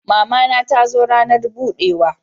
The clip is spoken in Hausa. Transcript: Mama na ta zo ranar budewa